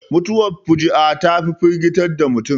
Mutuwar fuji'a ta fi firgita mutum